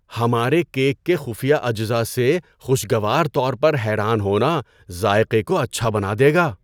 ہمارے کیک کے خفیہ اجزا سے خوشگوار طور پر حیران ہونا ذائقے کو اچھا بنا دے گا۔